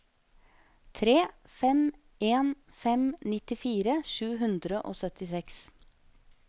tre fem en fem nittifire sju hundre og syttiseks